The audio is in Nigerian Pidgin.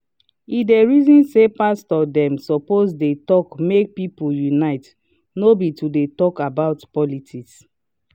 e dey reason say pastor dem suppose de talk make people unite no be to talk politics